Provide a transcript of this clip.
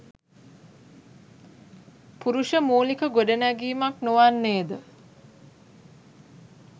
පුරුෂ මූලික ගොඩනැඟීමක් නොවන්නේද?